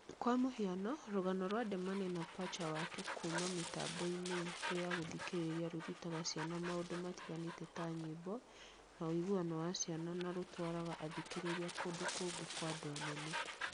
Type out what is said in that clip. Kwa mũhiano, rũgano rwa Demane na Pacha Wake kuuma mĩtambo-inĩ itũ ya gũthikĩrĩria rũrutaga ciana maũndũ matiganĩte ta nyĩmbo, na ũiguano wa ciana na rũgatwara athikĩrĩria kũndũ kũngĩ kwa andũ anene